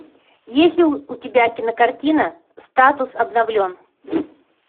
есть ли у тебя кинокартина статус обновлен